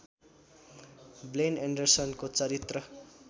ब्लेन एन्डरसनको चरित्र